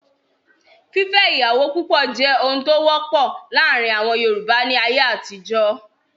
Fífẹ́ ìyàwó púpọ̀ jẹ́ ohun tó wọ́pọ̀ láàrin àwọn Yorùbá ní ayé àtijọ́.